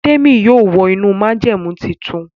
Temi yóò wọ inú májẹ̀mú títún.